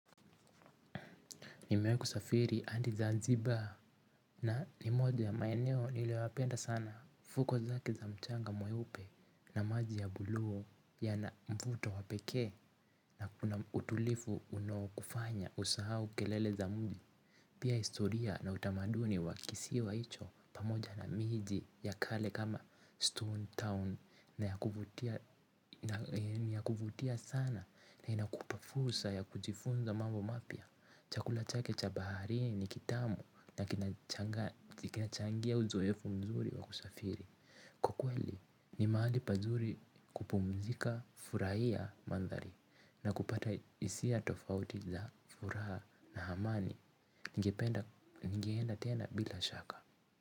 Nimewahi kusafiri hadi Zanzibar na ni moja ya maeneo nilioyapenda sana. Fuko zake za mchanga mweupe na maji ya buluu yana mvuto wapekee na kuna utulivu unaokufanya usahau kelele za mji. Pia historia na utamaduni wa kisiwa hicho pamoja na miji ya kale kama Stone Town yakuvutia ni ya kuvutia sana na inakupa fursa ya kujifunza mambo mapya. Chakula chake cha baharini ni kitamu na kinachangia uzoefu mzuri wa kusafiri. Kwa kweli ni mahali pazuri kupumzika kufurahia mandhari na kupata hisia tofauti za furaha na amani. Ningeenda tena bila shaka.